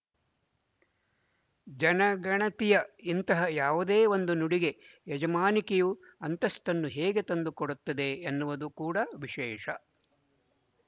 ಜನಗಣತಿಯ ಇಂತಹ ಯಾವುದೇ ಒಂದು ನುಡಿಗೆ ಯಜಮಾನಿಕೆಯು ಅಂತಸ್ತನ್ನು ಹೇಗೆ ತಂದು ಕೊಡುತ್ತದೆ ಎನ್ನುವುದು ಕೂಡ ವಿಶೇಶ